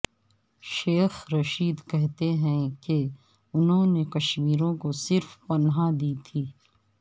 شیخ رشید کہتے ہیں کہ انہوں نے کشمیریوں کو صرف پناہ دی تھی